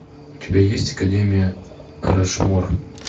у тебя есть академия рашмор